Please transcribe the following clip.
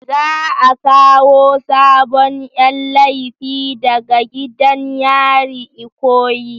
Za a kawo sabon Yan laifi daga gidan yarin ikoyi.